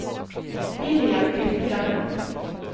William Birkeland